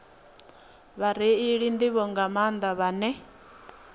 vhareili nḓivho nga maanḓa vhane